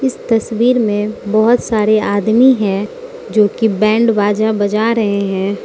इस तस्वीर में बहोत सारे आदमी है जो की बैंड बाजा बजा रहे हैं।